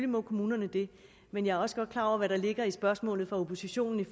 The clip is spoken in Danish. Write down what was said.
må kommunerne det men jeg er også godt klar over hvad der ligger i spørgsmålet fra oppositionen